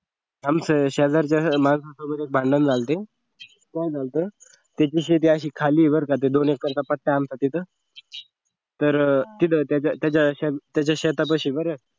आमचं शेजारच्या माणसांसोबत भांडण झालं होत काय झालं होत त्यांची शेती अशी खाली आहे बर का असं दोन एकरचा पट्टा आहे आमचा तिथं तर तिथं त्याच्या त्याच्या शेतापाशी बर